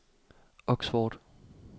Oxford